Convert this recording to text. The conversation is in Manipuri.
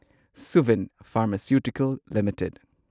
Suven pharmaceutical limited